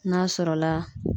N'a sɔrɔla